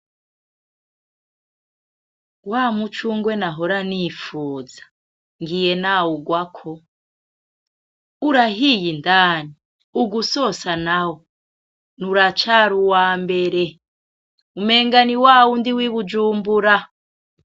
Wamucungwe nahora nifuza ,ngiye nawurwako urahiye indani, ugusosa nawo! Uracari uwambere umenga ni wawundi w'ibujumbura .